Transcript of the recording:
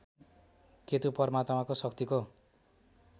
केतु परमात्माको शक्तिको